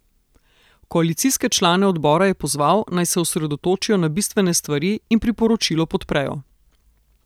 Koalicijske člane odbora je pozval, naj se osredotočijo na bistvene stvari in priporočilo podprejo.